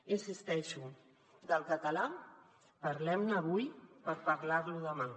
hi insisteixo del català parlem ne avui per parlar lo demà